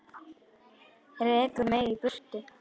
Rekur mig í burtu?